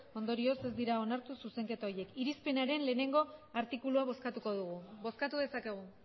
ondorioz ez dira onartu zuzenketa horiek irizpenaren lehenengo artikulua bozkatuko dugu bozkatu dezakegu